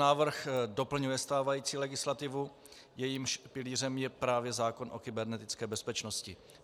Návrh doplňuje stávající legislativu, jejímž pilířem je právě zákon o kybernetické bezpečnosti.